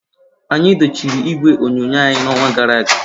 Anyị dochie igwe onyonyo anyị n'ọnwa gara aga.